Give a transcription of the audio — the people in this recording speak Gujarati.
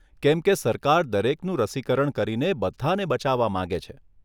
કેમ કે સરકાર દરેકનું રસીકરણ કરીને બધાને બચાવવા માંગે છે.